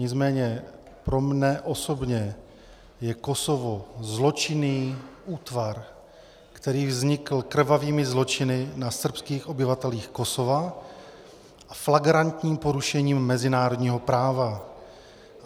Nicméně pro mne osobně je Kosovo zločinný útvar, který vznikl krvavými zločiny na srbských obyvatelích Kosova a flagrantním porušením mezinárodního práva.